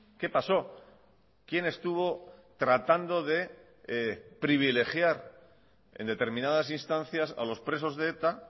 qué pasó quién estuvo tratando de privilegiar en determinadas instancias a los presos de eta